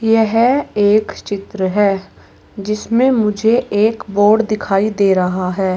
यह एक चित्र है जिसमें मुझे एक बोर्ड दिखाई दे रहा है।